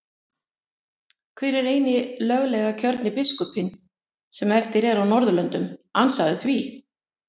Hver er eini löglega kjörni biskupinn sem eftir er á Norðurlöndum, ansaðu því?